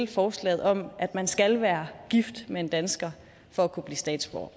forslaget om at man skal være gift med en dansker for at kunne blive statsborger